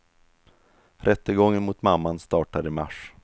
Rättegången mot mamman startar i mars.